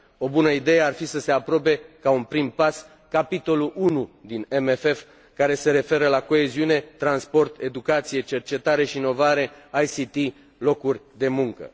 O bună idee ar fi să se aprobe, ca un prim pas, capitolul 1 din CFM care se referă la coeziune, transport, educație, cercetare și inovare, TIC, locuri de muncă.